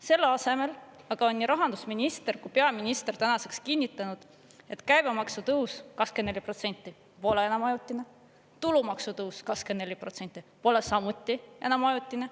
Selle asemel aga on nii rahandusminister kui peaminister tänaseks kinnitanud, et käibemaksu tõus, 24%, pole enam ajutine, tulumaksu tõus, 24%, pole samuti enam ajutine.